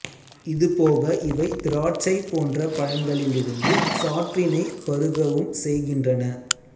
இது போக இவை திராட்சை பொன்ற பழங்களிலிருந்து சாற்றினை பருகவும் செய்கின்றன